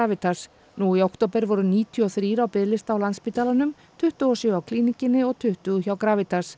Gravitas nú í október voru níutíu og þrjú á biðlista hjá Landspítalanum tuttugu og sjö hjá Klínikinni og tuttugu hjá